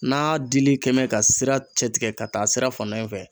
N'a dili kɛɛmɛ ka sira cɛ tigɛ ka taa sira fan dɔ in fɛ